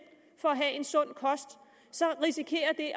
for at have en sund kost så risikerer det